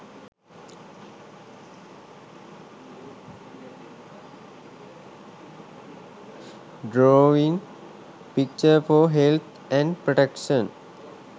drawing picture for health and protection